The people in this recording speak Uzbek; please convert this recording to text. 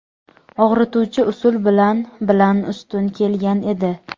og‘rituvchi usul bilan bilan ustun kelgan edi.